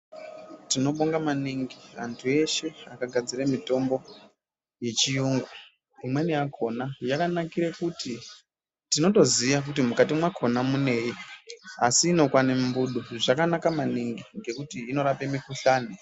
Tinobonga maningi muntu weshe akagadzira mitombo yechirungu imweni yakona yakanakira kuti tinotoziva kuti Mukati mwakona munei asi inokwana mumbudo asi zvakanaka maningi nekuti inorapa mikuhlani.